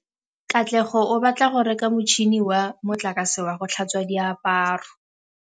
Katlego o batla go reka motšhine wa motlakase wa go tlhatswa diaparo.